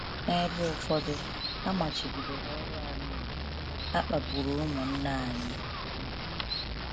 N’ebe ụfọdụ, a machibidoro ọrụ anyị iwu, a kpagburu ụmụnna anyị. um